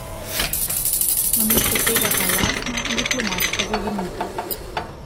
Namesto tega pa jasna, diplomatska zavrnitev.